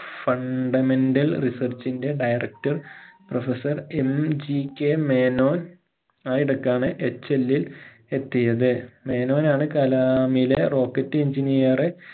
fundamental research ഇന്റെ directorprofessorMGK Menon ആയിടക്കാണ് HL ഇൽ എത്തിയത് മേനോൻ ആണ് കലാമിലെ rocket engineer എ